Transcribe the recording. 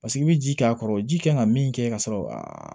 Paseke i bɛ ji k'a kɔrɔ ji kan ka min kɛ ka sɔrɔ a